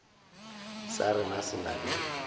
sa rena se na le